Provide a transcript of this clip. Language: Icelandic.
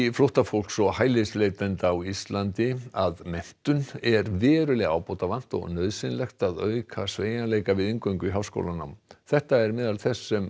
flóttafólks og hælisleitenda á Íslandi að menntun er verulega ábótavant og nauðsynlegt að auka sveigjanleika við inngöngu í háskólanám þetta er meðal þess sem